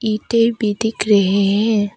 ईंटें भी दिख रहे हैं।